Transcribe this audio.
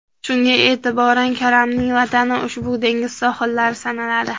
Shunga e’tiboran, karamning vatani ushbu dengiz sohillari sanaladi.